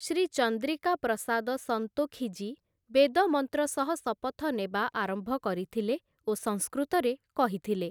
ଶ୍ରୀ ଚନ୍ଦ୍ରିକା ପ୍ରସାଦ ସନ୍ତୋଖି ଜୀ ବେଦମନ୍ତ୍ର ସହ ଶପଥ ନେବା ଆରମ୍ଭ କରିଥିଲେ ଓ ସଂସ୍କୃତରେ କହିଥିଲେ ।